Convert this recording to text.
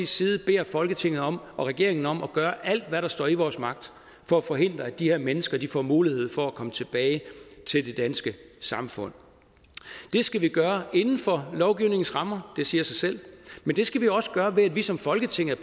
side beder folketinget om og regeringen om at gøre alt hvad der står i vores magt for at forhindre at de her mennesker får mulighed for at komme tilbage til det danske samfund det skal vi gøre inden for lovgivningens rammer det siger sig selv men det skal vi også gøre ved at vi som folketing er